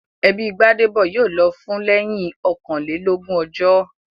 Ẹbí Gbádébọ̀ yóò lọ fún lẹ́yìn ọkànlélógún ọjọ́